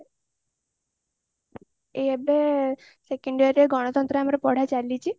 ଏବେ second year ରେ ଗଣତନ୍ତ୍ର ଆମର ପଢା ଚାଲିଛି